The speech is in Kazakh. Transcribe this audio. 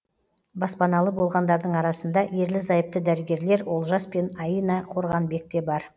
баспаналы болғандардың арасында ерлі зайыпты дәрігерлер олжас пен аина қорғанбек те бар